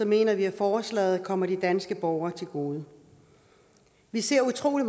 mener vi at forslaget kommer de danske borgere til gode vi ser utrolig